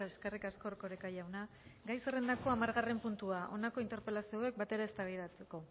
eskerrik asko erkoreka jauna gai zerrendako hamargarren puntua honako interpelazio hauek batera eztabaidatu dira